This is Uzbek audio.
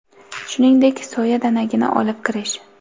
shuningdek soya danagini olib kirish;.